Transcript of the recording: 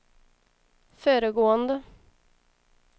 föregående